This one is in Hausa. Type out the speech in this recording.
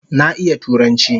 Na iya turanchi